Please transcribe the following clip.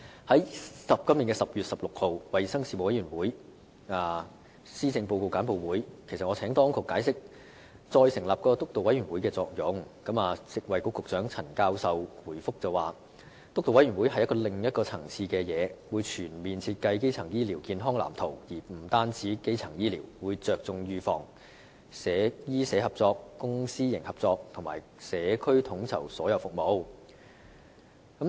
在今年10月16日衞生事務委員會的施政報告簡報會上，我已請當局解釋再成立督導委員會的作用，而食物及衞生局局長陳教授回覆時指，督導委員會屬另一層次，負責全面設計基層醫療健康藍圖，而且不單包括基層醫療，更會着重預防、醫社合作、公私營合作，以及在社區統籌所有服務。